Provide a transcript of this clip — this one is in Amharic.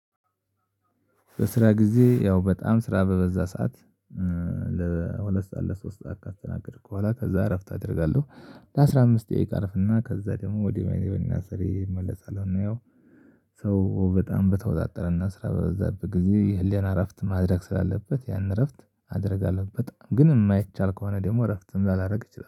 በስራ ጊዜ ያው በጣም ስራ በበዛ ሰዓት ለሁለት ሰዓት ለሶስት ሰዓት ካስተናገድኩ በኋላ ከዛ እረፍት አደርጋለሁ። ለአሥራ አምስት ደቂቃ አርፍና ከዛ ደግሞ ወደ መደበኛ ስራየ እመለሳለሁ እና ያው ሰው በጣም በተወጣጠረና ስራ በበዛብህ ጊዜ የህሊና እረፍት ማድረግ ስላለበት ያንን እረፍት አደርጋለሁ በጣም ግን የማይቻል ከሆነ ደግሞ እረፍትም ላላደርግ እችላለሁ